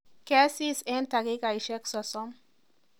Kesis eng dakikaishek sosom